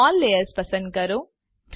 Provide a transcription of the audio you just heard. show all layers પસંદ કરો